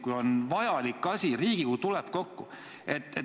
Kui on vajalik asi, siis Riigikogu tuleb kokku.